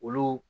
Olu